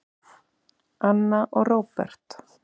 Anna og Róbert.